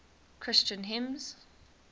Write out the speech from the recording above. christian hymns